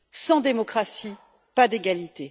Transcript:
Sans démocratie, pas d'égalité.